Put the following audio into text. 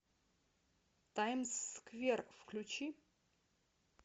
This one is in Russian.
таймс сквер включи